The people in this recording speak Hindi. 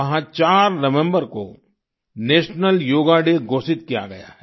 वहाँ 4 नवम्बर को नेशनल योगा डे घोषित किया गया है